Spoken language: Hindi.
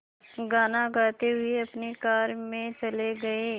गाना गाते हुए अपनी कार में चले गए